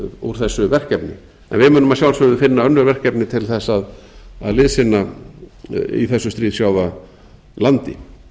úr þessu verkefni en við munum að sjálfsögðu finna önnur verkefni til þess að liðsinna í þessu stríðshrjáða landi